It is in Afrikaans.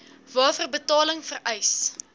waarvoor betaling vereis